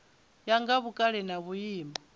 ya nga vhukale na vhuimo